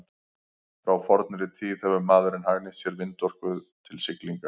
frá fornri tíð hefur maðurinn hagnýtt sér vindorku til siglinga